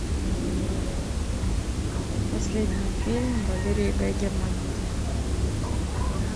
последний фильм валерии гай германики